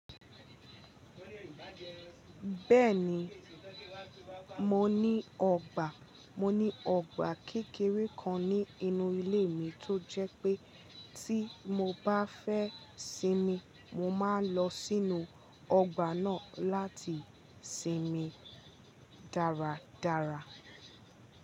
Bẹ́ẹ̀ni mo ní ọgbà kékeré kan ní inú ilé mi, tó jẹ́ pé tí mo báà fẹ́ sinmi mo máa ń lọ sínú ọgbà náà láti sinmi dáradára.